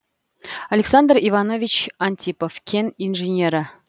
александр иванович антипов кен инженері